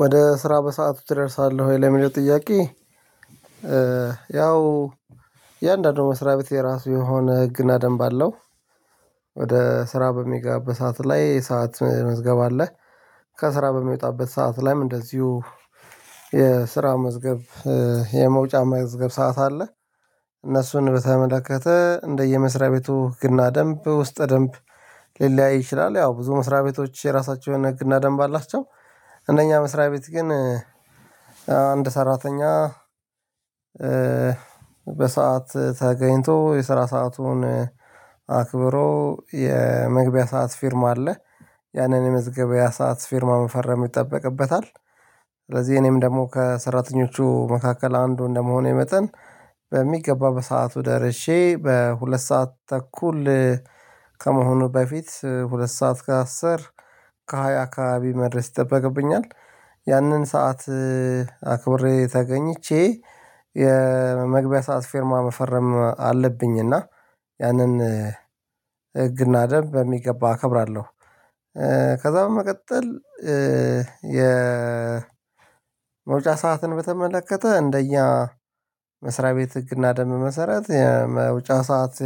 ወደ ስራ በሰአቱ ትደርሳለህ ወይ ለሚለው ጥያቄ? ያው እያንዳዱ መስሪያቤት የራሱ የሆነ ህግና ደንብ አለው። ወደ ስራ በምገባበት ሰዓት ላይ ሰዓት መዝገብ አለ። ከስራ በምወጣበት ሰዓት ላይም እንደዚሁ የስራ መዝገብ የመውጫ መዝገብ ሰዓት አለ። እነሱን በተመለከተ እንደየመስሪያ ቤቱ ግና ደንብ ውስጥ ደንብ ሊለያይ ይችላል ያው ብዙ መስሪያ ቤቶች የራሳቸው የሆነ ህግና ደንብ አላቸው። እነኛ መስሪያ ቤት ግን አንድ ሰራተኛ በሰአት ተገኝቶ የስራ ሰአቱን አክብሮ የመግቢያ ሰዓት ፊርማ አለ ያንን የመዝገበ ያ ሰዓት ፊርማ መፈረም ይጠበቅበታል። ስለዚህ እኔም ደግሞ ከሰራተኞቹ መካከል አንዱ እንደመሆኔ መጠን በሚገባ በሰአቱ ደርሼ በሁለት ሰዓት ተኩል ከመሆኑ በፊት ሁለት ሰዓት ከአስር ከሃያ አካባቢ መድረስ ይጠበቅብኛል ያንን ሰዓት አክብሬ ተገኝቼ የመግቢያ ሰዓት ፊርማ መፈረም አለብኝ እና ያንን ህግና ደንብ በሚገባ አከብራለሁ። ከዛ በመቀጠል የመውጫ ሰዓትን በተመለከተ እንደኛ መስሪያ ቤት ህግና ደንብ መሰረት የመውጫ ሰዓት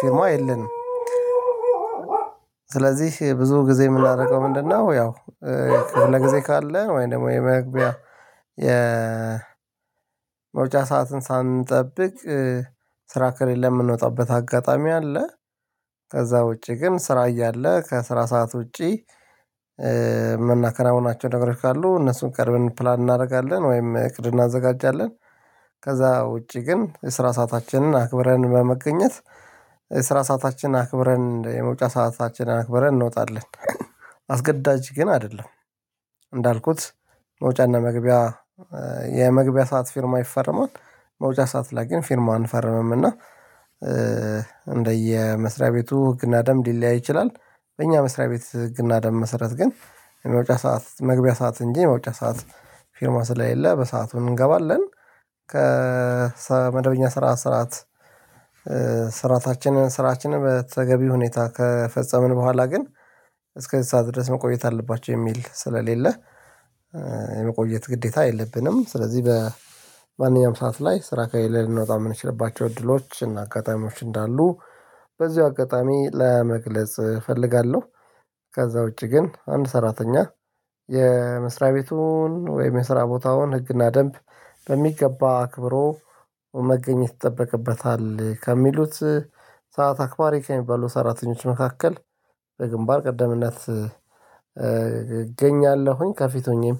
ፊርማ የለንም። ስለዚህ ብዙ ጊዜ የምናደርገው ምንድነው ያው ክፍለ ጊዜ ካለ ወይም ደግሞ የመግቢያ የመውጫ ሰዓትን ሳንጠብቅ ስራ ከሌለ የምንወጣበት አጋጣሚ አለ። ከዛ ውጪ ግን ስራ እያለ ከስራ ሰዓት ውጪ ምናከናቸው ነገሮች ካሉ እነሱን ቀድመን ፕላን እናደርጋለን ወይም እቅድ እናዘጋጃለን። ከዛ ውጪ ግን የስራ ሰአታችንን አክብረን በመገኘት የስራ ሰዓታችን አክብረን የመውጫ ሰዓታችን አክብረን እንወጣለን። አስገዳጅ ግን አይደለም። እንዳልኩት መውጫና መግቢያ የመግቢያ ሰዓት ፊርማ ይፈረማል መውጫ ሰዓት ላይ ግን ፊርማ አንፈርምም እና እንደየ መስሪያ ቤቱ ህግና ደንብ ሊለያይ ይችላል። በእኛ መስሪያ ቤት ህግና ደንብ መሰረት ግን የመውጫ ሰዓት መግቢያ ሰዓት እንጂ የመውጫ ሰዓት ፊርማ ስለሌለ በሰአቱ እንገባለን። ከመደበኛ ስራ ስራት ስራታችንን ስራችንን በተገቢ ሁኔታ ከፈጸምን በኋላ ግን እስከ እዚ ሰዓት ድረስ መቆየት አለባቸው የሚል ስለሌለ። የመቆየት ግዴታ የለብንም ስለዚህ በማንኛውም ሰዓት ላይ ስራ ከሌለ ልንወጣ የምንችልባቸው እድሎች እና አጋጣሚዎች እንዳሉ በዚሁ አጋጣሚ ለመግለጽ እፈልጋለሁ። ከዛ ውጪ ግን አንድ ሰራተኛ የመስሪያ ቤቱን ወይም የመስሪያ ቦታውን ህግና ደንብ በሚገባ አክብሮ መገኘት ይጠበቅበታል ከሚሉት ሰዓት አክባሪ ከሚባሉ ሰራተኞች መካከል በግንባር ቀደምነት እገኛለሁኝ ከፊት ሆኜም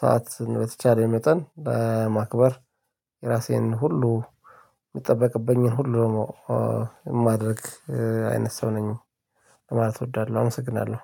ሰዓት በተቻለኝ መጠን ለማክበር የራሴን ሁሉ የሚጠበቅብኝን ሁሉ ነው የማደርግ አይነት ሰው ነኝ። ማለት እወዳለሁ አመሰግናለሁ